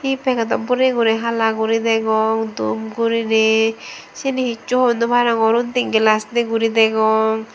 hi pagedot boreye guri hala guri degong dup guriney syeni hissu hoi naw parongor undi glass dei guri degong.